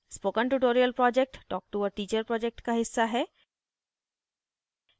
spoken tutorial project talk to a teacher project का हिस्सा है